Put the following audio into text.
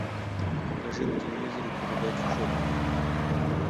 покажи на телевизоре передачу шопинг